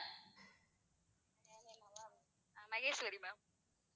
என் name ங்களா Maheswari ma'am